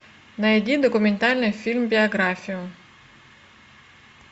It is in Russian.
найди документальный фильм биографию